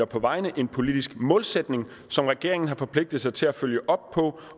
på vejene en politisk målsætning som regeringen har forpligtet sig til at følge op på